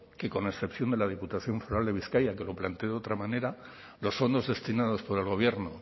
que con excepción de la diputación foral de bizkaia que lo planteó de otra manera los fondos destinados por el gobierno